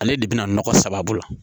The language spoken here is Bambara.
Ale de bɛna nɔgɔ sababu la